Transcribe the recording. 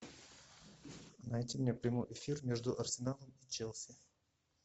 найди мне прямой эфир между арсеналом и челси